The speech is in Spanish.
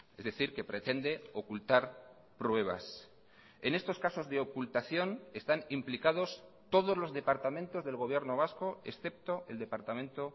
es decir que pretende ocultar pruebas en estos casos de ocultación están implicados todos los departamentos del gobierno vasco excepto el departamento